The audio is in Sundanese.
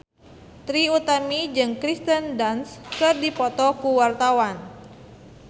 Trie Utami jeung Kirsten Dunst keur dipoto ku wartawan